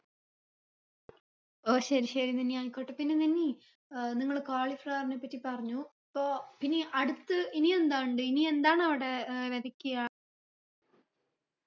ഓ ശരി ശരി നനി ആയിക്കോട്ടെ പിന്നെ നനി ഏർ നിങ്ങള് cauliflower നെപ്പറ്റി പറഞ്ഞു പ്പോ പിന്നെ അടുത്ത് ഇനിയെന്താണ്ടി ഇനിയെന്താണ് അവിടെ ഏർ വെതയ്ക്ക്യ